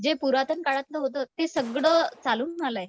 जे पुरातन काळातलं होतं ते सगळं चालून आलंय.